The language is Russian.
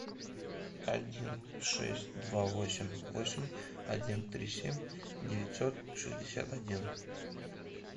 один шесть два восемь восемь один три семь девятьсот шестьдесят один